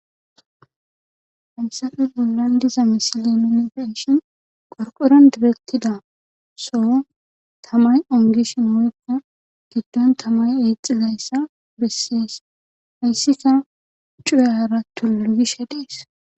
Haysape bollan diza misilen nuni be'shin qorqoron kexethidi soo tamay ongishin woykka giddon tamay eexxizayssa besees hayssika cuyaara tulu gishe dees.